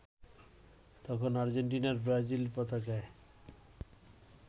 তখন আর্জেন্টিনা-ব্রাজিলের পতাকায়